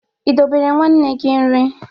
I dobere nwanne gi nri?